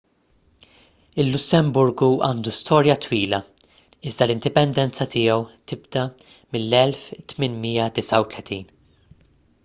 il-lussemburgu għandu storja twila iżda l-indipendenza tiegħu tibda mill-1839